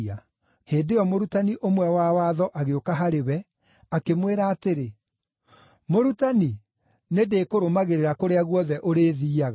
Hĩndĩ ĩyo mũrutani ũmwe wa watho agĩũka harĩ we, akĩmwĩra atĩrĩ, “Mũrutani, nĩndĩkũrũmagĩrĩra kũrĩa guothe ũrĩthiiaga.”